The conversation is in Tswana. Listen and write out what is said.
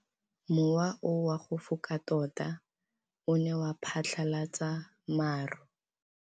Mowa o wa go foka tota o ne wa phatlalatsa maru.